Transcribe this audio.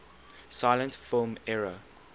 silent film era